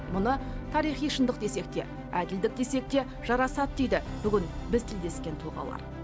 мұны тарихи шындық десек те әділдік десек те жарасады дейді бүгін біз тілдескен тұлғалар